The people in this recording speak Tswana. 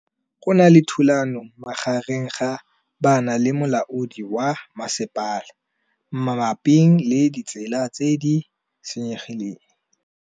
Go na le thulanô magareng ga banna le molaodi wa masepala mabapi le ditsela tse di senyegileng.